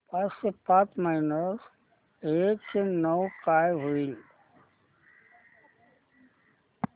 चारशे पाच मायनस एकशे नऊ काय होईल